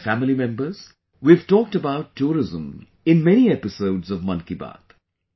My family members, we have talked about tourism in many episodes of 'Mann Ki Baat'